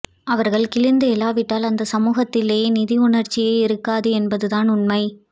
அவர்கள் கிளர்ந்து எழாவிட்டால் அந்தச் சமூகத்திலே நீதியுணர்ச்சியே இருக்காது என்பதுதான் உண்மை